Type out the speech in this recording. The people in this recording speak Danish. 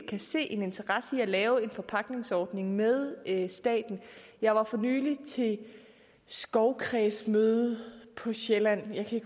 kan se en interesse i frivilligt at lave en forpagtningsordning med staten jeg var for nylig til skovkredsmøde på sjælland jeg kan